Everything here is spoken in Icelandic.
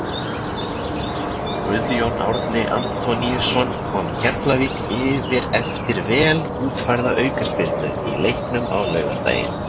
Guðjón Árni Antoníusson kom Keflavík yfir eftir vel útfærða aukaspyrnu í leiknum á laugardaginn.